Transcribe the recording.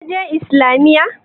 Ka je Islamiyya?